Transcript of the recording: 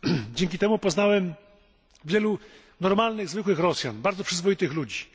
Dzięki temu poznałem wielu normalnych, zwykłych Rosjan, bardzo przyzwoitych ludzi.